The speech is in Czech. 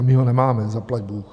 A my ho nemáme - zaplať bůh.